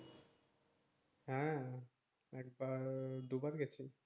হ্যাঁ একবার দু বার গিয়েছি